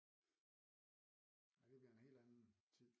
Det bliver en helt anden tid